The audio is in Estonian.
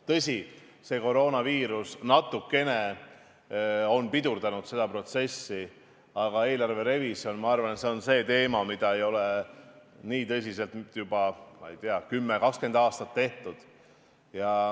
Tõsi, koroonaviirus on natukene pidurdanud seda protsessi, aga eelarverevisjon on minu arvates see teema, mida ei ole nii tõsiselt tehtud nüüd juba, ma ei tea, kümme-kakskümmend aastat.